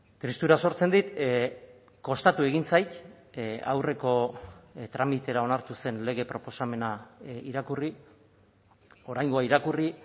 tristura sortzen dit kostatu egin zait aurreko tramitera onartu zen lege proposamena irakurri oraingoa irakurri